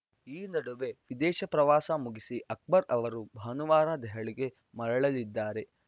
ಈ ನಡುವೆ ವಿದೇಶ ಪ್ರವಾಸ ಮುಗಿಸಿ ಅಕ್ಬರ್‌ ಅವರು ಭಾನುವಾರ ದೆಹಲಿಗೆ ಮರಳಲಿದ್ದಾರೆ